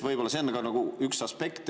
Võib-olla see on üks aspekt.